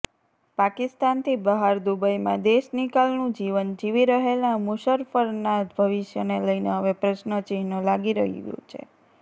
પાકિસ્તાનથી બહાર દુબઈમાં દેશનિકાલનું જીવન જીવી રહેલા મુશર્રફના ભવિષ્યને લઈને હવે પ્રશ્નચિન્હ લાગી ગયું છે